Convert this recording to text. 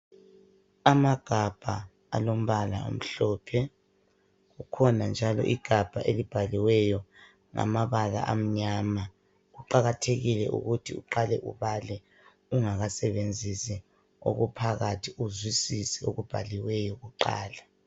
Amagabha alombala omhlophe kukhona njalo igabha elibhaliweyo ngamabala amnyama. Kuqakathekile ukuthi uqale ubale ungakasebenzisi okuphakathi uzwisise okubhaliweyo kuqala.